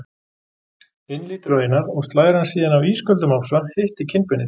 inn lítur á Einar og slær hann síðan af ísköldum ofsa, hittir kinnbeinið.